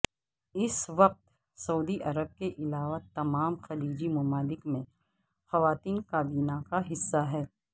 اس وقت سعودی عرب کے علاوہ تمام خلیجی ممالک میں خواتین کابینہ کا حصہ ہیں